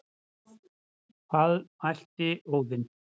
Hvað mælti Óðinn,